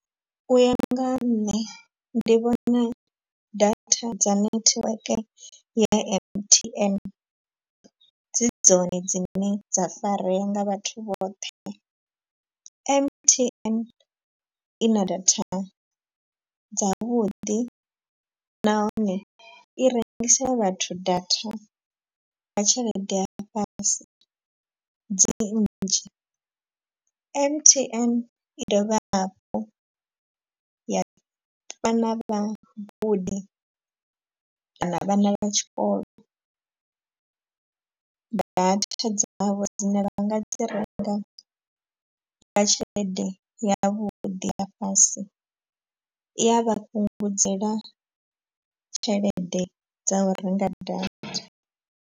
U ya nga nṋe ndi vhona data dza network ya M_T_N dzi dzone dzine dza farea nga vhathu vhoṱhe. M_T_N ina data dzavhuḓi nahone i rengisela vhathu data nga tshelede ya fhasi dzi nnzhi. M_T_N i dovha hafhu ya vha na vhagudi kana vhana vha tshikolo data dzavho dzine vha nga dzi renga nga tshelede yavhuḓi ya fhasi i a vha fhungudzela tshelede dza u renga data.